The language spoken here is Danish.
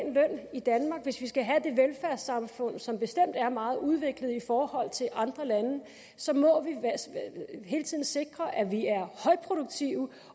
i danmark hvis vi skal have det velfærdssamfund som bestemt er meget udviklet i forhold til andre lande så må vi hele tiden sikre at vi er højproduktive